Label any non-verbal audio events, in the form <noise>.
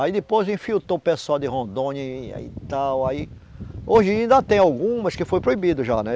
Aí depois infiltrou o pessoal de Rondônia e <unintelligible> tal, aí... Hoje ainda tem algumas que foram proibidas já, né?